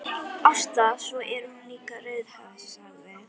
Ásta, svo er hún líka rauðhærð, sagði